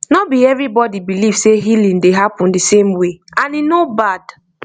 no be everybody believe say healing dey happen the same way and e no bad